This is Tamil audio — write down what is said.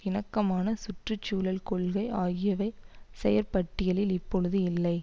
இணக்கமான சுற்று சூழல் கொள்கை ஆகியவை செயற்பட்டியலில் இப்பொழுது இல்லை